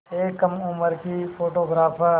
एक कम उम्र की फ़ोटोग्राफ़र